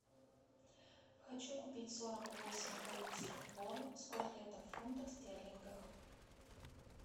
хочу купить сорок восемь корейских вон сколько это в фунтах стерлингах